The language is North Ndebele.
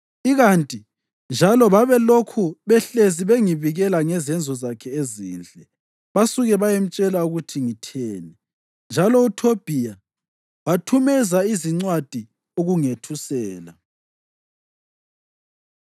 Ikanti njalo babelokhu behlezi bengibikela ngezenzo zakhe ezinhle, basuke bayemtshela ukuthi ngitheni. Njalo uThobhiya wathumezela izincwadi ukungethusela.